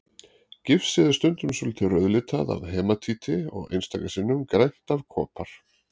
Gifsið er stundum svolítið rauðlitað af hematíti og einstaka sinnum grænt af kopar.